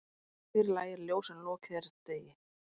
Fyrr lægir ljós en lokið er degi.